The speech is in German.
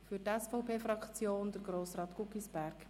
Für die SVP-Fraktion spricht nun Grossrat Guggisberg.